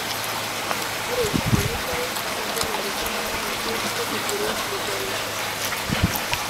ore ele twala naa kenarikino naaji nitigiri milele